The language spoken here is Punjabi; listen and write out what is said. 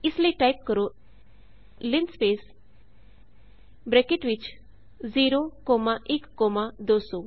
ਇਸ ਲਈ ਟਾਇਪ ਕਰੋ ਲਿੰਸਪੇਸ ਬਰੈਕਟ ਵਿਚ 0 ਕੋਮਾ 1 ਕੋਮਾ 200